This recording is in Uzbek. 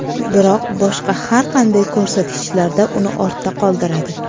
Biroq boshqa har qanday ko‘rsatkichlarda uni ortda qoldiradi.